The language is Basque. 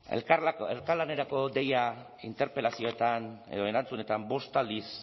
elkarlanerako deia interpelazioetan edo erantzunetan bost aldiz